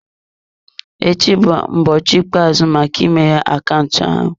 Echi bụ ụbọchị ikpeazụ maka imeghe akaụntụ ahụ.